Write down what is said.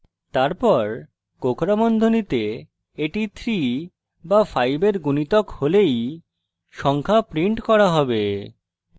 তারপর কোঁকড়া বন্ধনীতে এটি 3 বা 5 এর গুণিতক হলেই সংখ্যা print করা হবে